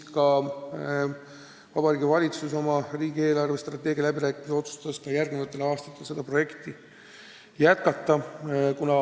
Vabariigi Valitsus otsustas riigi eelarvestrateegia läbirääkimistel ka järgmistel aastatel seda projekti jätkata.